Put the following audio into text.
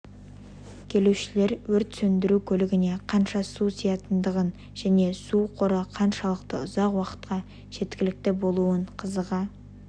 келушілер өрт сөндіру көлігіне қанша су сиятындығын және ол суқоры қаншалықты ұзақ уақытқа жеткілікті болуын қызыға